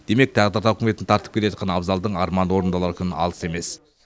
демек тағдыр тауқіметін тартып келе жатқан абзалдың арманы орындалар күн алыс емес